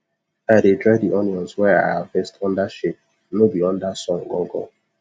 i dey dry di onions wey i harvest under shade no be under sun gangan